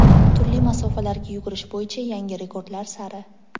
turli masofalarga yugurish bo‘yicha "Yangi rekordlar sari!";.